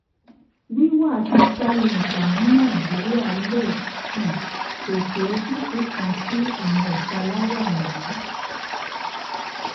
wíwà ti starlink ní nigeria le um pese ojutu kan si awọn italaya wọnyi